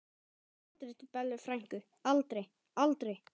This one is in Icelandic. Ég fer aldrei til Bellu frænku, aldrei, aldrei.